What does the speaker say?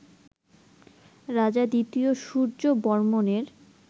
রাজা ২য় সূর্যবর্মণের